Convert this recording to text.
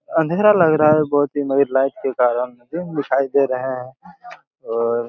अंधेरा लग रहा है बहुत ही लाइट के कारण दिन दिखाई दे रहे हैं और--